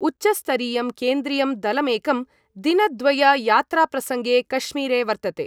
उच्चस्तरीयं केन्द्रीयं दलमेकं दिनद्वययात्राप्रसङ्गे कश्मीरे वर्तते।